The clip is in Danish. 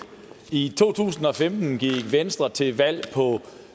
i to tusind og femten gik venstre til valg på